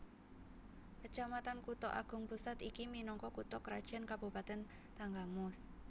Kecamatan Kutha Agung Pusat iki minangka kutha krajan Kabupatèn Tanggamus